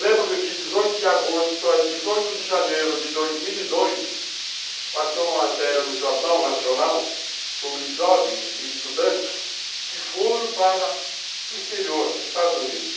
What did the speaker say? Lembro-me que dezoito de agosto, dezoito de janeiro de dois mil e dois, passou uma matéria no Jornal Nacional sobre jovens e estudantes que foram para o exterior, Estados Unidos.